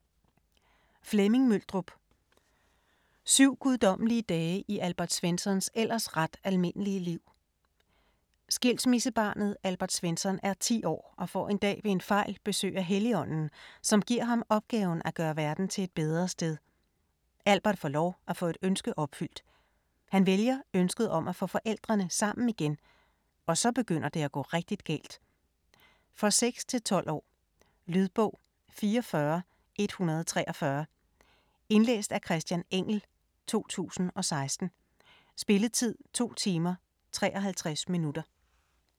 Møldrup, Flemming: Syv guddommelige dage i Albert Svenssons ellers ret almindelige liv Skilsmissebarnet Albert Svensson er 10 år og får en dag ved en fejl besøg af Helligånden, som giver ham opgaven at gøre verden til et bedre sted. Albert får lov at få et ønske opfyldt. Han vælger ønsket om at få forældrene sammen igen, og så begynder det at gå rigtig galt! For 6-12 år. Lydbog 44143 Indlæst af Christian Engell, 2016. Spilletid: 2 timer, 53 minutter.